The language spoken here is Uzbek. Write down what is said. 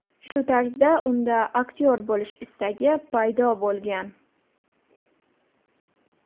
Shu tarzda unda aktyor bo‘lish istagi paydo bo‘lgan.